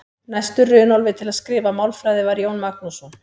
Næstur Runólfi til að skrifa málfræði var Jón Magnússon.